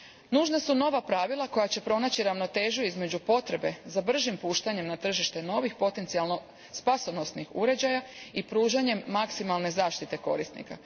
Nužna su nova pravila koja će pronaći ravnotežu između potrebe za bržim puštanjem na tržište novih potencijalno spasonosnih uređaja i pružanjem maksimalne zaštite korisnika.